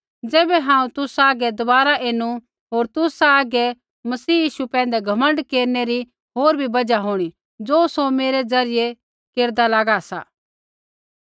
ज़ैबै हांऊँ तुसा हागै दबारा एनु होर तुसा हागै मसीह यीशु पैंधै घमण्ड केरनै री होर भी बजहा होंणी ज़ो सौ मेरै ज़रियै केरदा लागा सा